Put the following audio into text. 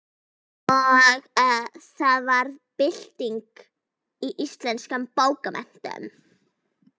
Og það varð bylting í íslenskum bókmenntum.